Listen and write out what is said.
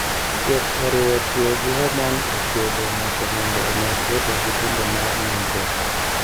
Thieth oriwo tiyo gi hormone e thiedho ng'ato mondo omed bedo gi gombo mar nindruok.